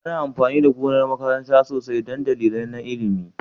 Ana amfani da gonar makaranta sosai don dalilai na ilimi?